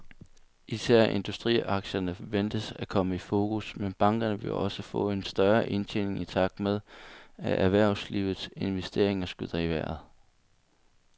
Især industriaktierne ventes at komme i fokus, men bankerne vil også få en større indtjening i takt med, at erhvervslivets investeringer skyder i vejret.